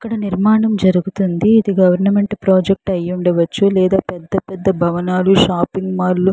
ఇక్కడ నిర్మాణం జరుగుతుంది. ఇది గవర్నమెంట్ ప్రాజెక్ట్ ఐ ఉండచ్చు. లేదా పెద్ద పెద్ద భవనాలు షాపింగ్ మళ్ళు --